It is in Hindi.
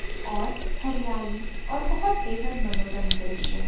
और हरियाली और बहोत बेहद मनोरम दृश्य है।